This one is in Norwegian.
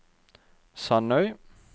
Sandøy